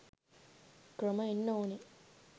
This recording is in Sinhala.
ක්‍රම එන්න ඕනේ